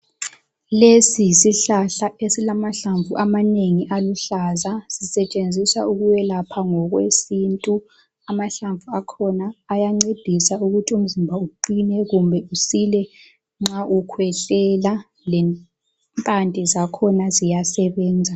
Lesi yisihlahla esilamahlamvu amanengi aluhlaza sisetshenziswa ukwelapha ngokwesintu, amahlamvu akhona ayancedisa ukuthi umzimba uqine kumbe usile nxa ukhwehlela, lempande zakhona ziyasebenza.